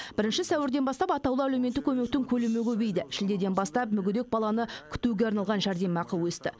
бірінші сәуірден бастап атаулы әлеуметтік көмектің көлемі көбейді шілдеден бастап мүгедек бала күтуге арналған жәрдемақы өсті